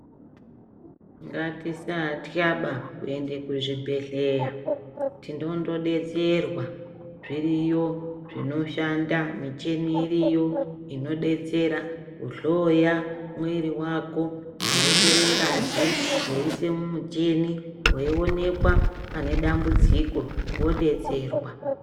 Ngati satya ba kuende ku zvibhedhleya tinondo detserwa zviriyo zvino shanda micheni iriyo ino detsera ku hloya mwiri wako veitore ngazi veyi ise mucheni vei onekwa pane dambudziko vo detserwa.